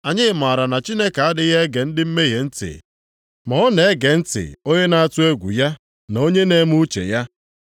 Anyị mara na Chineke adịghị ege ndị mmehie ntị, ma ọ na-ege ntị onye na-atụ egwu ya na onye na-eme uche ya.